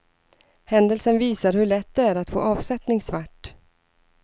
Händelsen visar hur lätt det är att få avsättning svart.